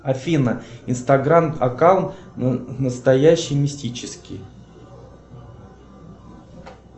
афина инстаграм аккаунт настоящий мистический